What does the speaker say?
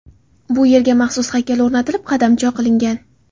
Bu yerga maxsus haykal o‘rnatilib, qadamjo qilingan.